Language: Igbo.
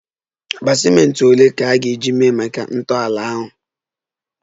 Akpa ciment ole ka a ga-eji mee ihe maka ntọala ahụ?